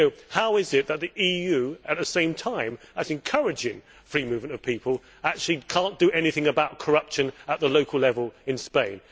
How is it that the EU, at the same time as encouraging free movement of people, cannot do anything about corruption at the local level in Spain?